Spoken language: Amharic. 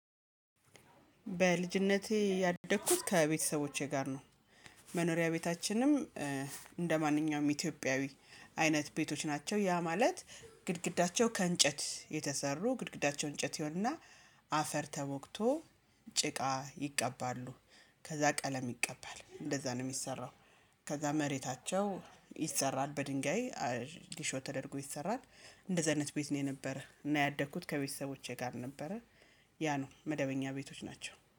በልጅነቴ ያደግኩት ከቤተሰቦቼ ጋር ነው። መኖሪያ ቤታችንም ኢትዮጵያዊ አይነት ቤቶች ናቸው። ያ ማለት ግድግዳቸው ከእንጨት የተሰሩ ግድግዳቸው እንጨት ይሆን እና አፈር ተወግቶ ጭቃ ይቀባሉ ከዛ ቀለም ይቀባል እንደዛ ነው የሚሰራው። ከዛ መሬታቸው ይሰራል በድንጋይ ሊሾ ተደርጎ ይሰራል። እንደዛ አይነት ቤት ነው የነበረ እና ያደግኩት ከቤተሰቦቼ ጋር ነበረ። ያ ነው መደበኛ ቤቶች ናቸው